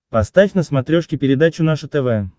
поставь на смотрешке передачу наше тв